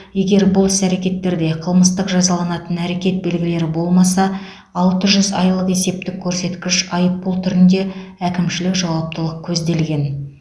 егер бұл іс әрекеттерде қылмыстық жазаланатын әрекет белгілері болмаса алты жүз айлық есеп көрсеткіш айыппұл түрінде әкімшілік жауаптылық көзделген